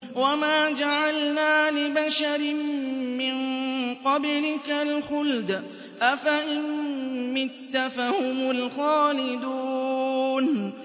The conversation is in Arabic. وَمَا جَعَلْنَا لِبَشَرٍ مِّن قَبْلِكَ الْخُلْدَ ۖ أَفَإِن مِّتَّ فَهُمُ الْخَالِدُونَ